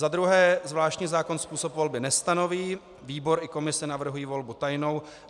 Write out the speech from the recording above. Za druhé, zvláštní zákon způsob volby nestanoví, výbor i komise navrhují volbu tajnou.